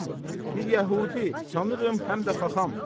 Şu adam bir yəhudi, sanıram həm də xaxam.